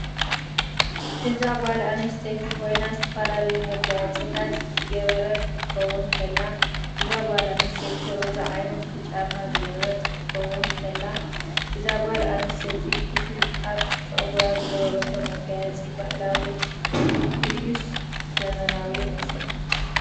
እዛ ጋል ኣንስተይቲ ኮይና ዝተፈላላዩ መጋያፅታት ዝገበረት ክትኮን ተላ እዛ ጋል ኣንስተይቲ ሮዛ ዓይነት ብጫማ ዝገበረት ክትከውን ከላ እዛ ጋል ኣንስተይቲ እቲ ኣብ ፀግራ ዝገበሮቶ መጋያፂ በህላዊ ድይስ ዘመናዊ ይመስለኩም?